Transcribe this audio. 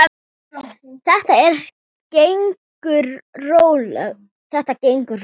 Þetta gengur rólega.